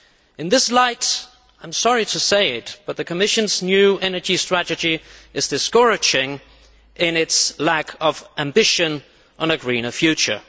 In this light, I am sorry to say, the Commission's new energy strategy is discouraging in its lack of ambition for a greener future.